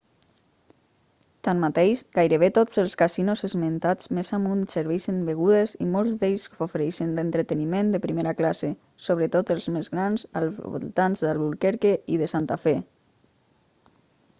tanmateix gairebé tots els casinos esmentats més amunt serveixen begudes i molts d'ells ofereixen entreteniment de primera classe sobretot els més grans als voltants d'albuquerque i de santa fe